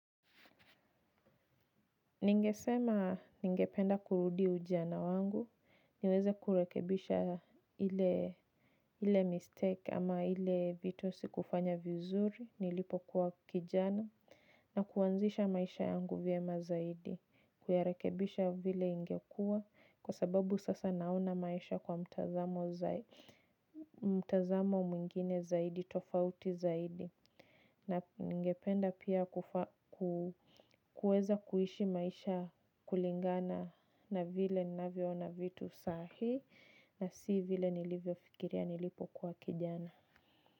Ningesema ningependa kurudi ujana wangu, niweze kurekebisha ile mistake ama ile vitu sikufanya vizuri, nilipo kuwa kijana, na kuwanzisha maisha yangu vyema zaidi, kuyarekebisha vile ingekua, kwa sababu sasa nauna maisha kwa mtazamo mwingine zaidi, tofauti zaidi. Na ningependa pia kuweza kuishi maisha kulingana na vile navyoona vitu sahii na si vile nilivyo fikiria nilipokuwa kijana.